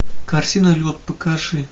картина лед покажи